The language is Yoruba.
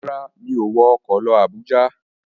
Rárá, mi ò wọ ọkọ̀ lọ Àbújá.